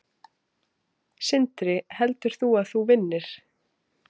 Sindri: Heldur þú að þú vinnir?